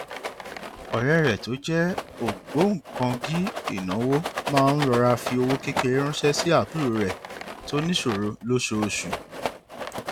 ọrẹ rẹ tó jẹ ògbóǹkangí ìnáwó máa ń rọra fi owó kékeré ránṣẹ sí àbúrò rẹ tó níṣòro lóṣooṣù